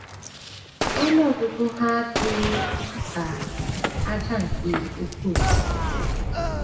Ọnụ ọgụgụ ha um dị ka ájá nke oké osimiri.”